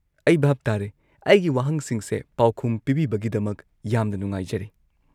ꯑꯩ ꯚꯥꯞ ꯇꯥꯔꯦ꯫ ꯑꯩꯒꯤ ꯋꯥꯍꯪꯁꯤꯡꯁꯦ ꯄꯥꯎꯈꯨꯝ ꯄꯤꯕꯤꯕꯒꯤꯗꯃꯛ ꯌꯥꯝꯅ ꯅꯨꯡꯉꯥꯏꯖꯔꯦ꯫